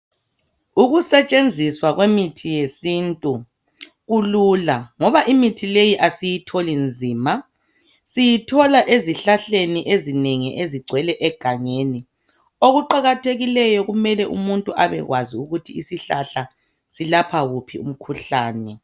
Ukusetshenziswa kwemithi yesintu kulula ngoba imithi leyi asiyitholi nzima siyithola ezihlahleni ezinengi ezigcwele egangeni okuqakathekileyo kumele umuntu abekwazi ukuthi isihlahla silapha wuphi umkhuhlane.